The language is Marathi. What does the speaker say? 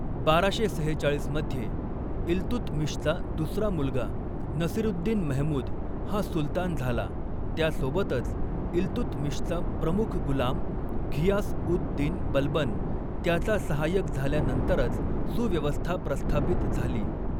बाराशे सेहेचाळीस मध्ये इल्तुतमिशचा दुसरा मुलगा नसिरुद्दीन महमूद हा सुलतान झाला, त्यासोबतच इल्तुतमिशचा प्रमुख गुलाम घियास उद दीन बलबन त्याचा सहाय्यक झाल्यानंतरच सुव्यवस्था प्रस्थापित झाली.